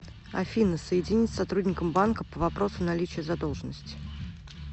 афина соединить с сотрудником банка по вопросу наличия задолжности